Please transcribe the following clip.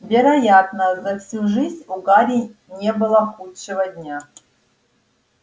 вероятно за всю жизнь у гарри не было худшего дня